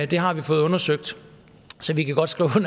det har vi fået undersøgt så vi kan godt skrive